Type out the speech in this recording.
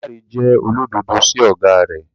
Damilare jẹ́ olódodo sí ọ̀gá rẹ̀.